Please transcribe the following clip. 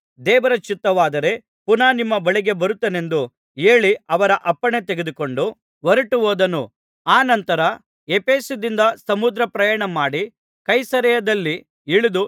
ದೇವರ ಚಿತ್ತವಾದರೆ ಪುನಃ ನಿಮ್ಮ ಬಳಿಗೆ ಬರುತ್ತೇನೆಂದು ಹೇಳಿ ಅವರ ಅಪ್ಪಣೆ ತೆಗೆದುಕೊಂಡು ಹೊರಟುಹೋದನು ಅನಂತರ ಎಫೆಸದಿಂದ ಸಮುದ್ರಪ್ರಯಾಣ ಮಾಡಿ ಕೈಸರೈಯದಲ್ಲಿ ಇಳಿದು